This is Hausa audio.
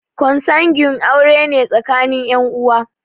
Konsanguine aure ne tsakanin ƴan uwa